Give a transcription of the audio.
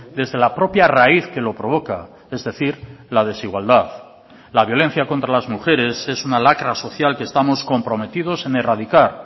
desde la propia raíz que lo provoca es decir la desigualdad la violencia contra las mujeres es una lacra social que estamos comprometidos en erradicar